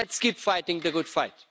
Let's keep fighting the good fight.